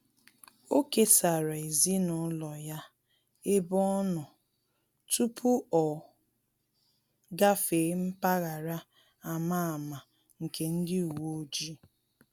Ọ kesara ezinụlọ ya ebe ọ nọ tupu o gafee mpaghara a ma ama nke ndị uweojii